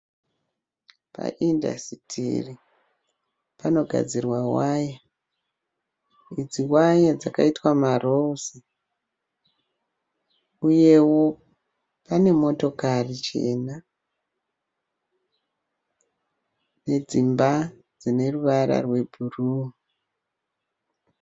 Pa indasitiri panogadzirwa waya. Idzi waya dzakaitwa maroozi uyewo panemotokari chena nedzimba dzineruvara rwebhuruu.